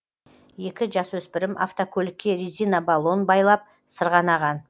екі жасөспірім автокөлікке резина баллон байлап сырғанаған